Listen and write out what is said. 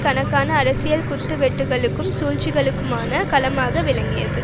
கணக்கான அரசியல் குத்து வெட்டுக்களுக்கும் சூழ்ச்சிகளுக்குமான களமாக விளங்கியது